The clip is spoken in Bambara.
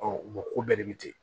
ko bɛɛ de bɛ ten